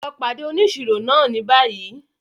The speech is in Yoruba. Lọ pàdé òníṣírò náà ní bayii!